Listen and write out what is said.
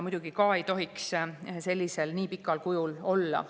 Muidugi ka neid ei tohiks nii pikal kujul olla.